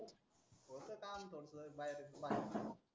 होतं तान थोडसं बाहेर